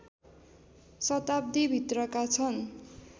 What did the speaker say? शताब्दीभित्रका छन्